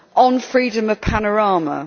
on freedom of panorama.